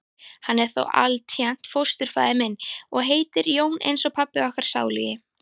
Hann er þó altént fósturfaðir minn. og heitir Jón eins og pabbi okkar sálugi.